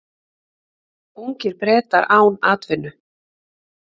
Ungir Bretar án atvinnu